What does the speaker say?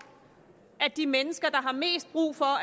at de mennesker der har mest brug for